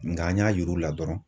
Nka an y'a yir'u la dɔrɔnw